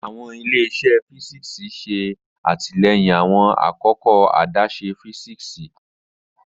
Awọn ile-iṣẹ físíksì ṣe atilẹyin awọn akoko adaṣe físíksì.